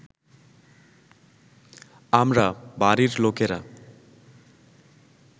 আমরা, বাড়ির লোকেরা